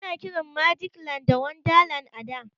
Ana kiran magic land da wonderland a da.